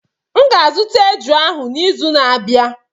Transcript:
M ga-azụta eju ahụ n'izu na-abịa.